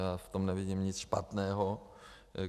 Já v tom nevidím nic špatného.